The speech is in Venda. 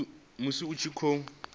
musi a tshi khou thivhelwa